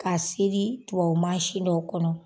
Ka seri tubabu mansi dɔw kɔnɔ.